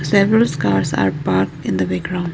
severals cars are park in the background.